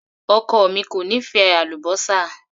Ọkọ mi kò nífẹ̀ẹ́ àlúbósà.